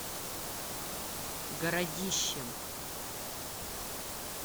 городищем